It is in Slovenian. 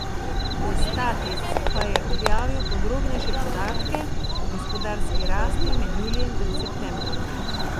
Destatis pa je objavil podrobnejše podatke o gospodarski rasti med julijem in septembrom.